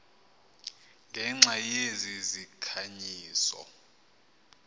ngenxa yezi zikhanyiso